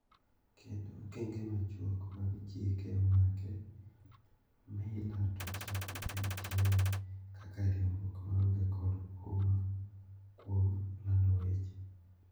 Kendo okenge machuok mag chike omake, Meyler to chako MTM kaka riwruok maonge kod huma kuom lado weche.